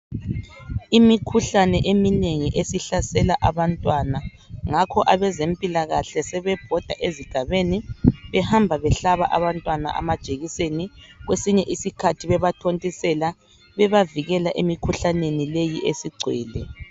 Imikhuhlane eminengi esihlasela abantwana ngakho abezempilakahle sebebhoda ezigabeni behamba behlaba abantwana amajekiseni kwesinye isikhathi bebathontisela bebavikela emikhuhlaneni leyi esigcwele.